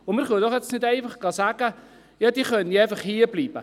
Wir können jetzt nicht einfach sagen, sie könnten hierbleiben.